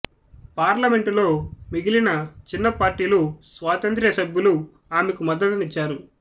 పార్లమెంటులో మిగిలిన చిన్న పార్టీలు స్వాతంత్ర్య సభ్యులు ఆమెకు మద్దతునిచ్చారు